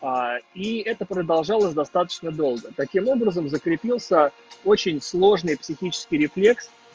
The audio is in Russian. и это продолжалось достаточно долго таким образом закрепился очень сложный психический рефлекс